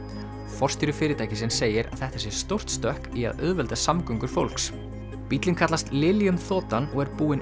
forstjóri fyrirtækisins segir þetta sé stórt stökk í að auðvelda flugsamgöngur fólks bíllinn kallast þotan og er búinn